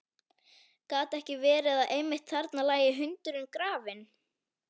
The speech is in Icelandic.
Gat ekki verið að einmitt þarna lægi hundurinn grafinn?